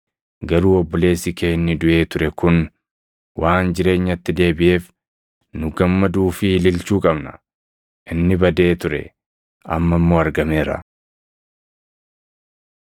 Garuu obboleessi kee inni duʼee ture kun waan jireenyatti deebiʼeef nu gammaduu fi ililchuu qabna. Inni badee ture; amma immoo argameera.’ ”